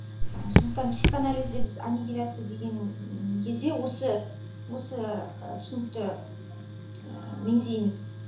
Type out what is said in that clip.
ы сондықтан психоанализде біз аннигиляция деген кезде осы і түсінікті ііі меңзейміз